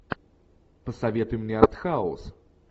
посоветуй мне артхаус